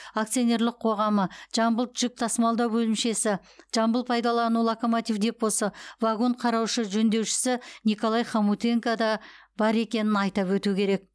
акционерлік қоғамы жамбыл жүк тасымалдау бөлімшесі жамбыл пайдалану локомотив депосы вагон қараушы жөндеушісі николай хомутенко да бар екенін айтап өту керек